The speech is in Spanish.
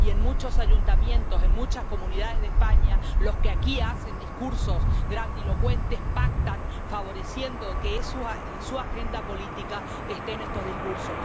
y en muchos ayuntamientos, en muchas comunidades de España, los que aquí hacen discursos grandilocuentes pactan, favoreciendo que en su agenda política estén estos discursos.